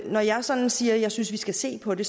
jeg sådan siger at jeg synes vi skal se på det